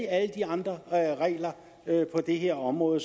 alle de andre regler på det her område